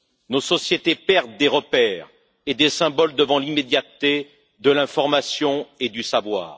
Nos sociétés perdent des repères et des symboles devant l'immédiateté de l'information et du savoir.